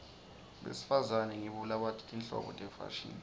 besifazane ngibo labati tinhlobo tefashini